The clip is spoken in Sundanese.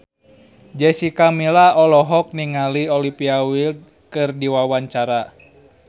Jessica Milla olohok ningali Olivia Wilde keur diwawancara